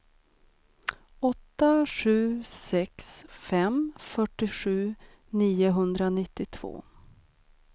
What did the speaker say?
åtta sju sex fem fyrtiosju niohundranittiotvå